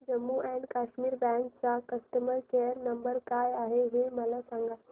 Jammu and Kashmir bank चा customer care number काय आहे हे मला सांगा